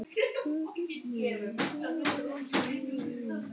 Svo þú verður að treysta þeim fyrir. þér.